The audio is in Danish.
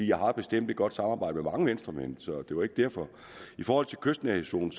jeg har bestemt et godt samarbejde med mange venstremænd så det var ikke derfor i forhold til kystnærhedszonen